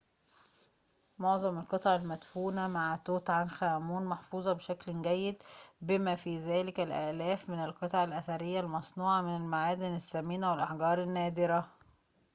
معظم القطع المدفونة مع توت عنخ آمون محفوظة بشكل جيد بما في ذلك الآلاف من القطع الأثرية المصنوعة من المعادن الثمينة والأحجار النادرة